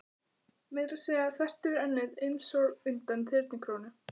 Meira að segja þvert yfir ennið, einsog undan þyrnikórónu.